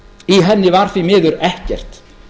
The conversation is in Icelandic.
í henni var því miður ekkert